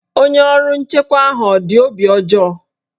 Onye ọrụ nchekwa ahụ ọ dị obi ọjọọ?